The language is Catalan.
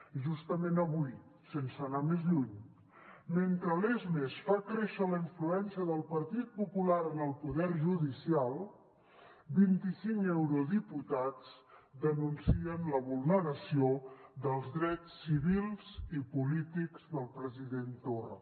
i justament avui sense anar més lluny mentre lesmes fa créixer la influència del partit popular en el poder judicial vint i cinc eurodiputats denuncien la vulneració dels drets civils i polítics del president torra